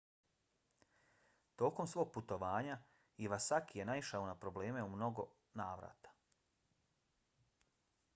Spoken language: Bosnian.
tokom svog putovanja iwasaki je naišao na probleme u mnogo navrata